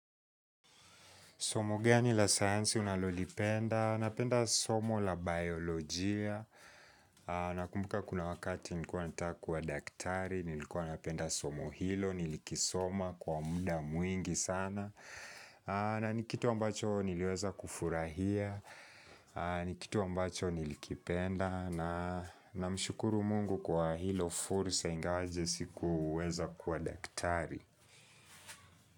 Somo gani la sayansi unalolipenda, napenda somo la biolojia, nakumbuka kuna wakati nilikuwa nataka kuwa daktari, nilikuwa napenda somo hilo, nilikisoma kwa mda mwingi sana, na nikitu ambacho niliweza kufurahia, nikitu ambacho nilikipenda, na mshukuru Mungu kwa hilo fursa ingawaje sikuweza kuwa daktari.